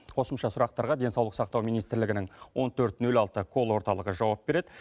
қосымша сұрақтарға денсаулық сақтау министрлігінің он төрт нөл алты колл орталығы жауап береді